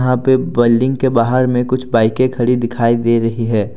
यहां पे बिल्डिंग के बाहर में कुछ बाइके खड़ी दिखाई दे रही हैं।